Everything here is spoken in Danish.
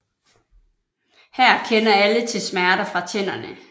Her kender alle til smerter fra tænderne